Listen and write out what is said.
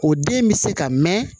O den bɛ se ka mɛn